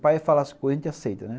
Pai é falar as coisas, a gente aceita, né?